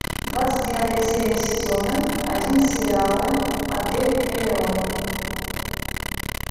двадцать девятая серия сезона один сериала отель элеон